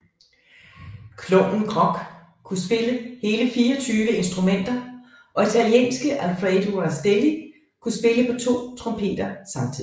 Klovnen Grock kunne spille hele 24 instrumenter og italienske Alfredo Rastelli kunne spille på to trompeter samtidigt